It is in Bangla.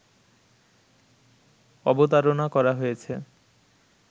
অবতারণা করা হয়েছে